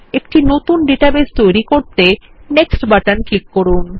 একটি নতুন ডাটাবেস তৈরী করতে নেক্সট বাটন ক্লিক করুন